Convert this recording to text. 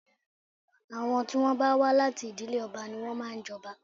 Àwọn tí wọ́n bá wà láti ìdílé ọba ni wọ́n máa ń jọba